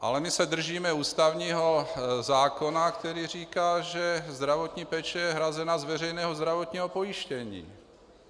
Ale my se držíme ústavního zákona, který říká, že zdravotní péče je hrazena z veřejného zdravotního pojištění.